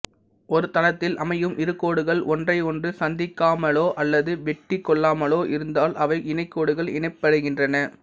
ஒரு தளத்தில் அமையும் இரு கோடுகள் ஒன்றையொன்று சந்திக்காமலோ அல்லது வெட்டிக் கொள்ளாமலோ இருந்தால் அவை இணகோடுகள் எனப்படுகின்றன